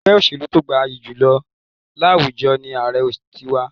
Ègbé òṣèlú to gbayì jù láwùjọ ni Ààrẹ ti wa